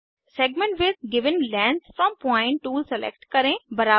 segment with given length from point tool select करें